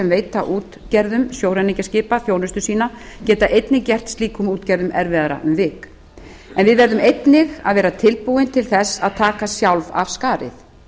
veita útgerðum sjóræningjaskipa þjónustu sína getur einnig gert slíkum útgerðum erfiðara um vik en við verðum einnig að vera tilbúin til þess að taka sjálf af skarið